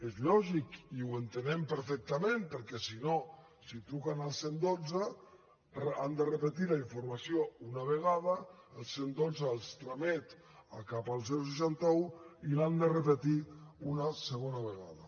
és lògic i ho entenem perfectament perquè si no si truquen al cent i dotze han de repetir la informació una vegada el cent i dotze els tramet cap al seixanta un i l’han de repetir una segona vegada